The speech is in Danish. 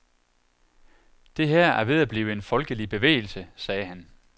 Det her er ved at blive en folkelig bevægelse, sagde han.